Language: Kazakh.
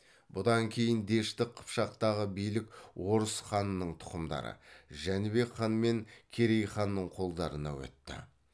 бұдан кейін дешті қыпшақтағы билік орыс ханның тұқымдары жәнібек хан мен керей ханның қолдарына өтті